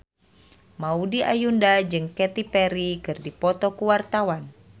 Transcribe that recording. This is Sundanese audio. Maudy Ayunda jeung Katy Perry keur dipoto ku wartawan